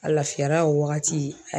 A lafiyara o wagati.